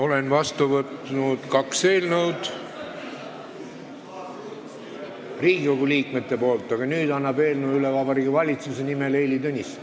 Olen vastu võtnud kaks eelnõu Riigikogu liikmetelt, aga nüüd annab Vabariigi Valitsuse eelnõu üle Heili Tõnisson.